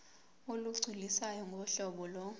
olugculisayo ngohlobo lo